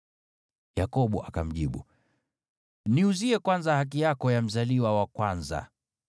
Yakobo akamjibu, “Niuzie kwanza haki yako ya mzaliwa wa kwanza.”